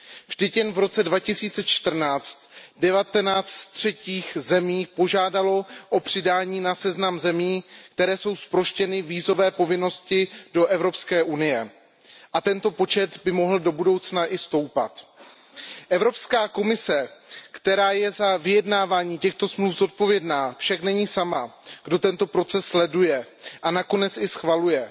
Vždyť jen v roce 2014 devatenáct z třetích zemí požádalo o přidání na seznam zemí, které jsou zproštěny vízové povinnosti vůči Evropské unii. A tento počet by mohl do budoucna i stoupat. Evropská komise, která je za vyjednávání těchto dohod zodpovědná, však není sama, kdo tento proces sleduje a nakonec i schvaluje.